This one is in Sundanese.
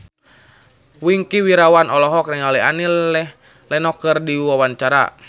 Wingky Wiryawan olohok ningali Annie Lenox keur diwawancara